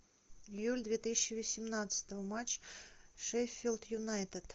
июль две тысячи восемнадцатого матч шеффилд юнайтед